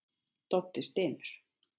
Doddi stynur.